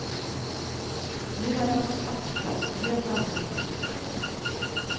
Nu är de av svart plast och helt annorlunda konstruerade.